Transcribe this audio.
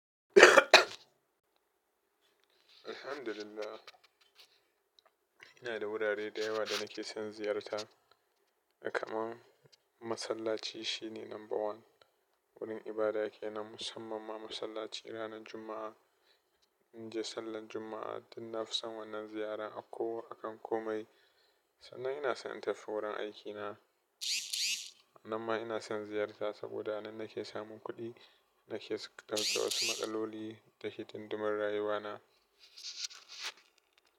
Alhamdulillah, ina da wurare da yawa da nake son ziyarta. Kaman masallaci shine number one. Wurin ibada kenan musamman ma masallaci ranar Juma'a. In je sallar juma'a dan na fi son wannan ziyara a ko, a kan komai. Sannan ina son in tafi wurin aikina. Nan ma ina son ziyarta saboda nan nake samun kuɗi. Nake sauke wasu maƙaloli da hidindimun rayuwa na.